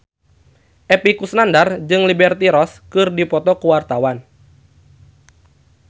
Epy Kusnandar jeung Liberty Ross keur dipoto ku wartawan